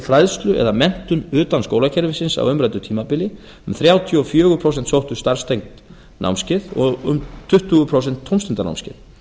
fræðslu eða menntun utan skólakerfisins á umræddu tímabili um þrjátíu og fjögur prósent sóttu starfstengd námskeið og um tuttugu prósent tómstundanámskeið